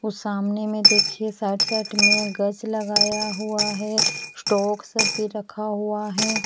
उस सामने में देखिए साइड साइड में गज लगाया हुआ है स्टॉक सब भी रखा हुआ है।